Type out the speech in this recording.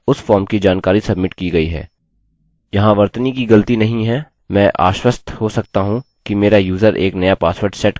अतः उस फॉर्म की जानकारी सब्मिट की गई है यहाँ वर्तनी की गलती नहीं है मैं आश्वस्त हो सकता हूँ कि मेरा यूज़र एक नया पासवर्ड सेट कर सकता है